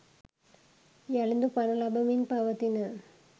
යළිදු පණ ලබමින් පවතින